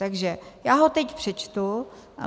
Takže já ho teď přečtu.